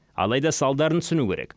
алайда салдарын түсіну керек